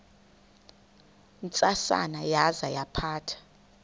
ntsasana yaza yaphatha